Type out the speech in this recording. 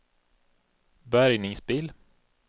bärgningsbil